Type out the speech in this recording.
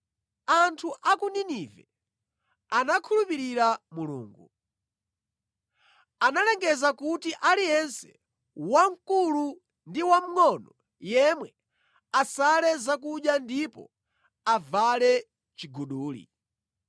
Anthu a ku Ninive anakhulupirira Mulungu. Analengeza kuti aliyense, wamkulu ndi wamngʼono yemwe asale zakudya ndipo avale chiguduli.